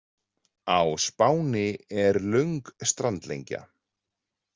Á Spáni er löng strandlengja.